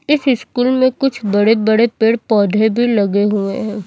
इस स्कूल में कुछ बड़े बड़े पेड़ पौधे भी लगे हुए हैं।